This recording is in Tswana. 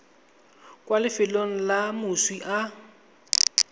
kwa lefelong le moswi a